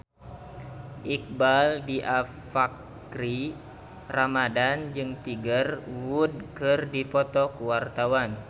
Iqbaal Dhiafakhri Ramadhan jeung Tiger Wood keur dipoto ku wartawan